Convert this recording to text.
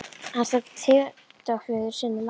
Hann nefndi tengdaföður sinn á nafn.